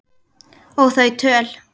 Og þau töl